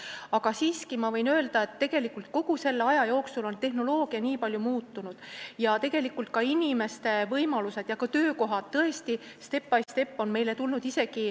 Aga siiski võin öelda, et kogu selle aja jooksul on tehnoloogia nii palju muutunud ja ka töökohad on tõesti step by step meile tulnud.